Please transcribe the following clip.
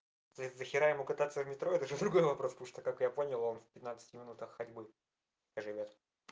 дохира ему кататься в метро это другой вопрос так как я понял он в петнацать минутах ходьбы живёт